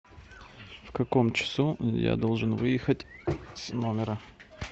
в каком часу я должен выехать с номера